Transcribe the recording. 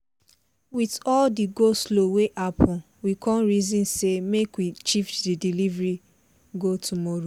with all the go-slow wey happen we con reason say make we shift the delivery go tomorrow